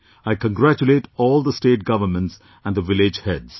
I congratulate all the State Governments and the village heads